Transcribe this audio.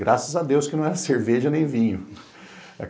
Graças a Deus, que não era cerveja nem vinho.